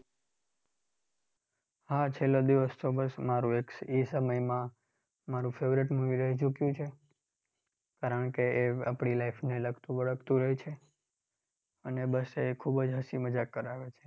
હા છેલ્લો દિવસ ચોક્કસ મારું એક એ સમયમાં મારું એક favorite movie રહી ચૂક્યું છે. કારણકે એ આપણી life ને લગતું વળગતું હોય છે. અને બસ એ ખૂબ જ હસી મજાક કરાવે છે.